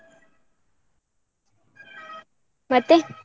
ಮತ್ತೆ?